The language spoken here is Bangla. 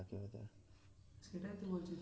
সেটাই তো বলছি